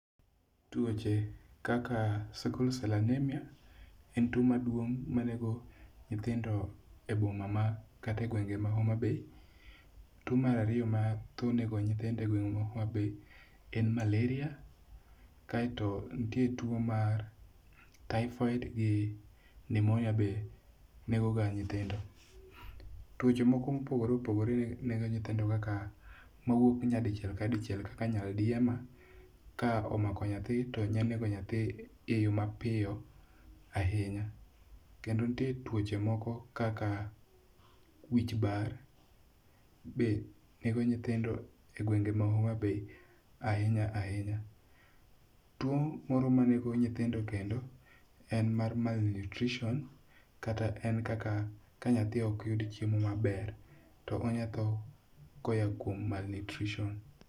Tuoche kaka sickle cell anemia en tuo maduong' manego nyithindo e boma ma kata e gwenge ma Homa Bay. Tuo mar ariyo ma tho nego nyithindo e gweng' ma Homa Bay en malaria. Kaeto nitie tuo mar typhoid gi pneumonia be nego ga nyithindo. Tuoche moko mopogore opogore nego nyithindo kaka mawuok nyadichiel ka dichiel kaka nyaldiema ka omako nyathi to nya nego nyathi e yo mapiyo ahinya. Kendo nitie tuoche moko kaka wich bar be nego nyithindo e gwenge ma Homa Baya ahinya ahinya. Tuo moro ma nego nyithindo kendo en mar malnutrition kata en kaka ka nyathi ok yud chiemo maber to onya tho ko ya kuom malnutrition.